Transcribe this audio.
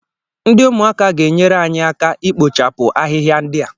Ndị ụmụaka ga-enyere anyị aka ikpochapụ ahịhịa ndị a